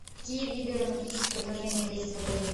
какие виды романтических предложений есть в отеле